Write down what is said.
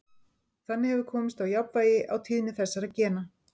Þannig hefur komist á jafnvægi á tíðni þessara gena.